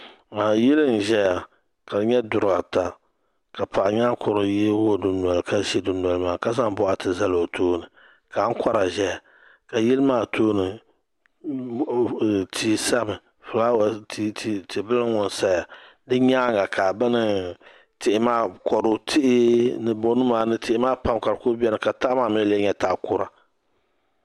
Yili n-zaya ka di nyɛ duri ata ka paɣ'nyaankurili yoogi o dundoli maa nika zaŋ bɔɣati zali o tooni ka ankora ʒeya kayili maa tooni tihi sami tibila ŋ-ŋɔ n-saya di nyaaŋa ka bini tihi maa kudu tihi ni bonima ni tihi maa pam ka di kuli beni ka taha maa mi lee nyɛ tah'kura